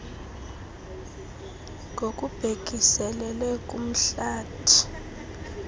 ngokubhekiselele kumhlathi a